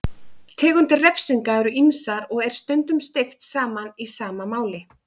Tegundir refsinga eru ýmsar og er stundum steypt saman í sama máli.